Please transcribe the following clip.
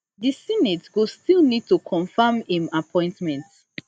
di senate go still need to confirm im appointment